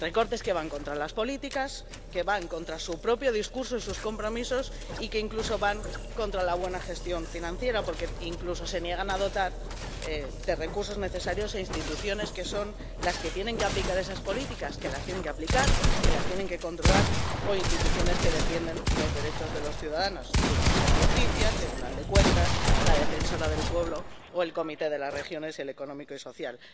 Recortes que van contra las políticas, que van contra su propio discurso y sus compromisos, y que incluso van contra la buena gestión financiera, porque incluso se niegan a dotar de recursos necesarios a instituciones que son las que tienen que aplicar esas políticas —que las tienen que aplicar, que las tienen que controlar—, o instituciones que defienden los derechos de los ciudadanos Tribunal de Justicia, Tribunal de Cuentas, el Defensor del Pueblo o el Comité de las Regiones o el Comité Económico y Social.